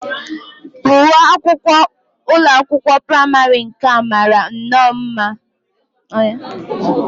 Uwe akwụkwọ ụlọakwụkwọ praịmarị nke a mara nnọọ mma